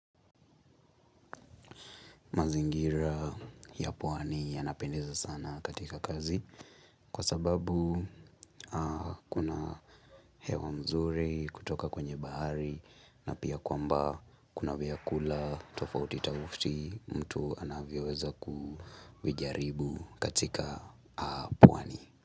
Mazingira ya pwani yanapendeza sana katika kazi kwa sababu kuna hewa mzuri kutoka kwenye bahari na pia kwamba kuna vyakula tofauti tofauti mtu anavyoweza kujaribu katika pwani.